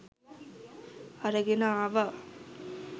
අරගෙන ආවා